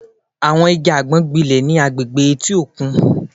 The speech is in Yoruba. Àwọn igi àgbọn gbilẹ̀ ní àwọn agbègbè etí òkun